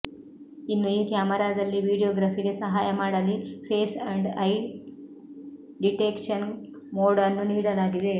ಇನ್ನು ಈ ಕ್ಯಾಮೆರಾದಲ್ಲಿ ವಿಡಿಯೋಗ್ರಫಿಗೆ ಸಹಾಯ ಮಾಡಲಿ face and eye detection mode ಅನ್ನು ನೀಡಲಾಗಿದೆ